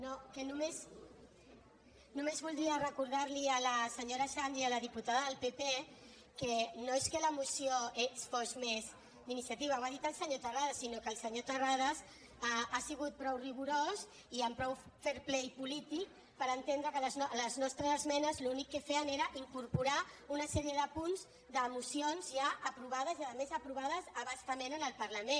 no que només voldria recordar li a la senyora xandri a la diputada del pp que no és que la moció fos més d’iniciativa ho ha dit el senyor terrades sinó que el senyor terrades ha sigut prou rigorós i amb prou fair play polític per entendre que les nostres esmenes l’únic que feien era incorporar hi una sèrie de punts de mocions ja aprovades i a més aprovades a bastament en el parlament